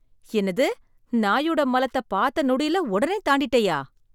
என்னது, நாயோட மலத்த பார்த்த நொடியில உடனே தாண்டிட்டயா?